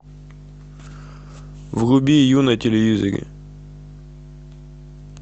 вруби ю на телевизоре